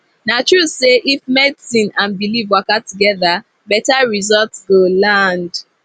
na true say if medicine and belief waka together better result go land